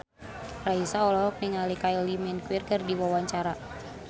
Raisa olohok ningali Kylie Minogue keur diwawancara